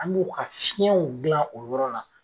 An b'o ka fiɲɛw gila o yɔrɔ la